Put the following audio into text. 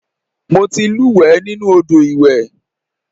Mo ti lúùwẹ́ nínú Odò iwè.